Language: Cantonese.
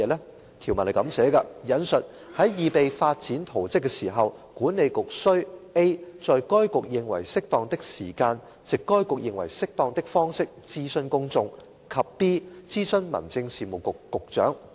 該項條文訂明，"在擬備發展圖則時，管理局須 —a 在該局認為適當的時間，藉該局認為適當的方式，諮詢公眾；及 b 諮詢民政事務局局長"。